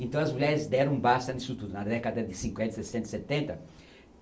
Então as mulheres deram um basta nisso tudo, na década de cinquenta, sessenta, e setenta.